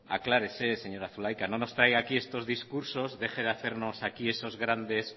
aclárese señora zulaika no nos traiga aquí estos discursos debe de hacernos aquí esos grandes